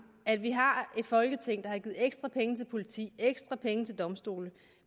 at vi har et folketing der har givet ekstra penge til politi og ekstra penge til domstole